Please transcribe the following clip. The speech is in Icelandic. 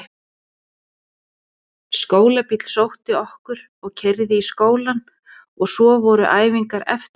Skólabíll sótti okkur og keyrði í skólann og svo voru æfingar eftir skóla.